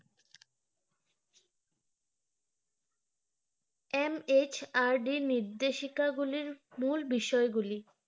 MHRD নির্দেশিকা গুলির মূল বিষয়গুলো